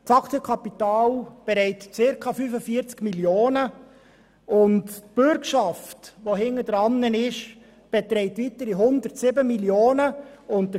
Das Aktienkapital beträgt zirka 45 Mio. Franken, und die dahinter liegende Bürgschaft macht weitere 107 Mio. Franken aus.